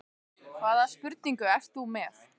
Hvaða spurningu ert þú með?